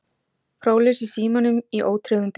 Próflaus í símanum í ótryggðum bíl